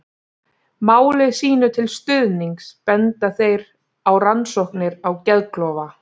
Máli sínu til stuðnings benda þeir á rannsóknir á geðklofa.